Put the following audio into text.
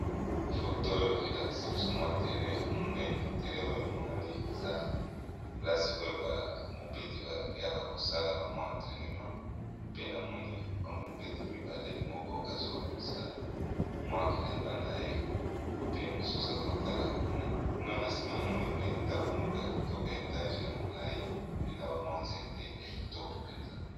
Foto oyo elakisi biso mwa terre ya monene terre oyo emonani eza plasi oyo bamobeti bayaka kosala bamwi entrainement pe na moni bamobeti mibale moko azobimisa mwa elamba na ye pe mosusu azotala kuna kuna na nsima na moni pe ndako moko ya kitoko ya etage ya molai pe na bamwa nzete ya kitoko mpenza.